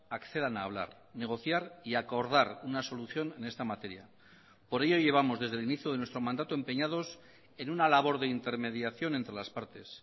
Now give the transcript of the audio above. accedan a hablar negociar y acordar una solución en esta materia por ello llevamos desde el inicio de nuestro mandato empeñados en una labor de intermediación entre las partes